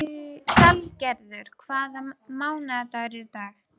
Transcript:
Salgerður, hvaða mánaðardagur er í dag?